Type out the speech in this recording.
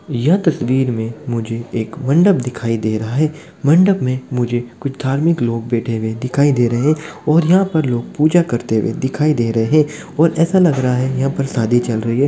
यह तस्वीर में मुझे एक मंडप दिखाई दे रहा है मंडप में मुझे कुछ धार्मिक लोग बैठे हुए दिखाई दे रहे हैं और यहां पर लोग पूजा करते हुए दिखाई दे रहे हैं और ऐसा लग रहा है यहां पर शादी चल रही है।